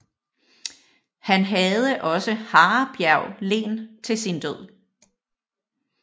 Han havde også Harebjerg Len til sin død